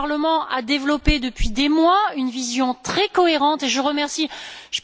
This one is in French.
Le Parlement a développé depuis des mois une vision très cohérente et je remercie tous les collègues.